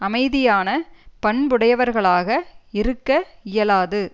அமைதியான பண்புடையவர்களாக இருக்க இயலாது